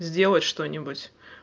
сделать что-нибудь